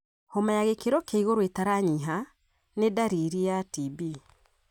Homa ya gĩkĩro kia igũrũ ĩtaranyiha nĩ ndariri ya TB.